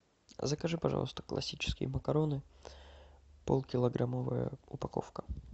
закажи пожалуйста классические макароны полукилограммовая упаковка